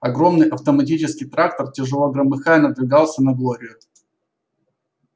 огромный автоматический трактор тяжело громыхая надвигался на глорию